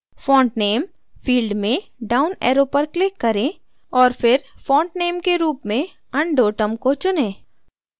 font name field में down arrow पर click करें और फिर फॉन्टनेम के रूप में undotum को चुनें